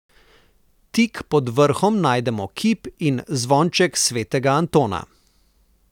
Tik pod vrhom najdemo kip in zvonček svetega Antona.